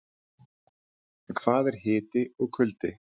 En hvað er hiti og kuldi?